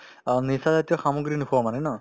অ, নিচাজাতীয় সামগ্ৰী নোখোৱা মানে ন